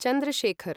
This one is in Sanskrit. चन्द्र शेखर्